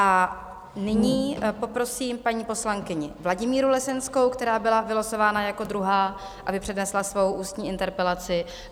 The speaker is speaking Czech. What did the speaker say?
A nyní poprosím paní poslankyni Vladimíru Lesenskou, která byla vylosována jako druhá, aby přednesla svou ústní interpelaci.